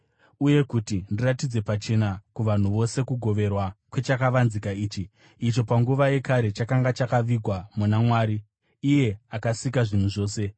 uye kuti ndiratidze pachena kuvanhu vose kugoverwa kwechakavanzika ichi, icho panguva yakare chakanga chakavigwa muna Mwari, iye akasika zvinhu zvose.